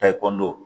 Ta ekɔlidenw